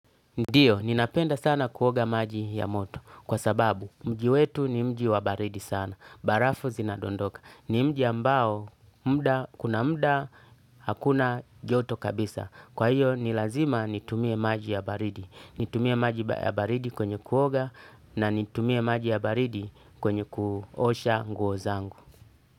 Ndiyo, ninapenda sana kuoga maji ya moto. Kwa sababu, mji wetu ni mji wa baridi sana. Barafu zinadondoka. Ni mji ambao, kuna mda hakuna joto kabisa. Kwa hiyo ni lazima nitumie maji ya baridi nitumie maji ya baridi kwenye kuoga na nitumie maji ya baridi kwenye kuosha nguo zangu.